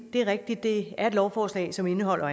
er rigtigt at det er et lovforslag som indeholder